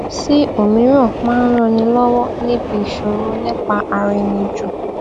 sí òmíràn máa ń ran ni lọwọ níbi ìsọrọ nípa ara ẹni jù